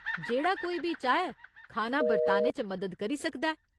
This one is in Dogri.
जेह्ड़ा कोई बी चाहै खाना बरताने च मदद करी सकदा ऐ।